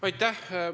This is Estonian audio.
Aitäh!